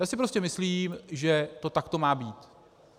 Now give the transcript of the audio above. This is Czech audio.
Já si prostě myslím, že to takto má být.